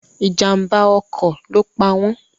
Ìjàm̀bá ọkọ̀ ló pa wọn.